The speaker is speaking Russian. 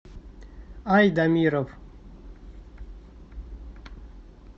айдамиров